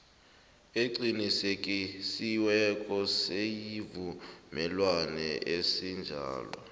eqinisekisiweko yesivumelwano esinjalo